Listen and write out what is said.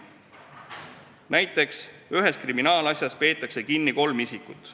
Näiteks peetakse ühes kriminaalasjas kinni kolm isikut.